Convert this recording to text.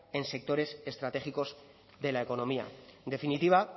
en sectores estratégicos de la economía en definitiva